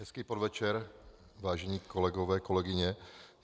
Hezký podvečer, vážení kolegové, kolegyně.